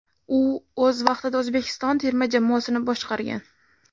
U o‘z vaqtida O‘zbekiston terma jamoasini boshqargan.